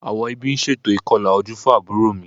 Àwọn ẹbí ń ṣe ètò ìkọlà ojú fún àbúrò mi